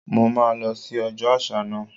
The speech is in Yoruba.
Mo máa lọ sí ọjọ́ àṣà náà.